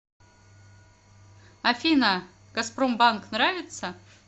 афина газпромбанк нравится